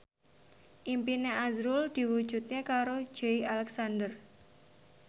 impine azrul diwujudke karo Joey Alexander